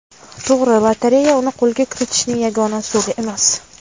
To‘g‘ri, lotereya uni qo‘lga kiritishning yagona usuli emas.